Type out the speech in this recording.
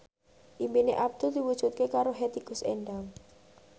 impine Abdul diwujudke karo Hetty Koes Endang